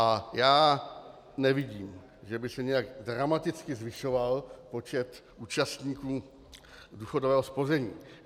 A já nevidím, že by se nějak dramaticky zvyšoval počet účastníků důchodového spoření.